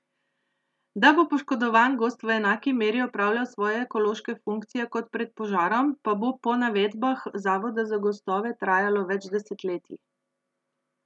Da bo poškodovan gozd v enaki meri opravljal svoje ekološke funkcije kot pred požarom, pa bo po navedbah zavoda za gozdove trajalo več desetletij.